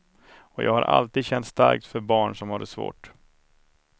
Och jag har alltid känt starkt för barn som har det svårt.